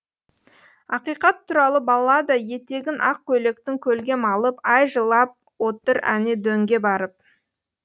ақиқат туралы баллада етегін ақ көйлектің көлге малып ай жылап отыр әне дөңге барып